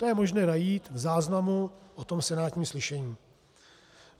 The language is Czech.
To je možné najít v záznamu o tom senátním slyšení.